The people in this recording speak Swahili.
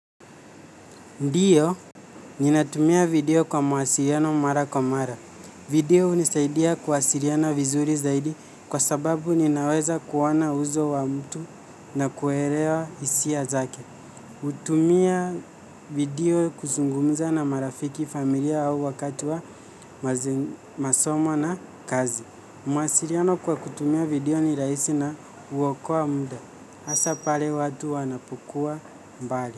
Ndiyo, ninatumia video kwa mawasiliiano mara kwa mara. Video hunisaidia kuwasiriana vizuri zaidi kwa sababu ninaweza kuona uso wa mtu na kuelewa hisia zake. Hutumia video kuzungumza na marafiki familia au wakati wa masomo na kazi. Mawasiliano kwa kutumia video ni rahisi na uokoa muda. Asa pale watu wanapokuwa mbali.